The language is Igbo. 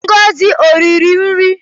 Ngozi o riri nri?